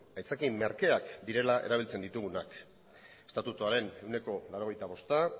aitzaki merkeak direla erabiltzen ditugunak estatutuaren ehuneko laurogeita bosta